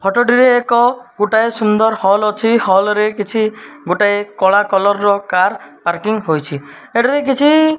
photo ଟିରେ ଏକ ଗୋଟାଏ ସୁନ୍ଦର ହଲ୍ ଅଛି ହଲ୍ ରେ କିଛି ଗୋଟାଏ କଳା କଲର୍ ର କାର ପାର୍କିଂ ହୋଇଛି ଏଠାରେ କିଛି --